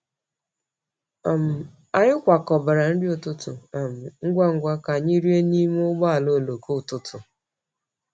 um Anyị kwakọbara nri ụtụtụ um ngwa ngwa ka anyị rie n’ime ụgbọ oloko ụtụtụ.